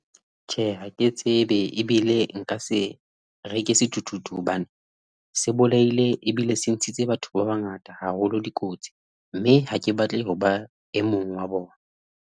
Tjhe, ha ke tsebe ebile nka se reke sethuthuthu, hobane se bolaile ebile se ntshitse batho ba bangata haholo dikotsi mme ha ke batle ho ba e mong wa bona.